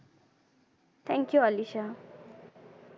thank you Alisha.